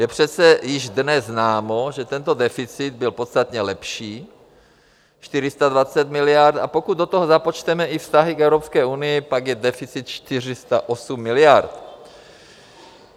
Je přece již dnes známo, že tento deficit byl podstatně lepší - 420 miliard, a pokud do toho započteme i vztahy k Evropské unii, pak je deficit 408 miliard.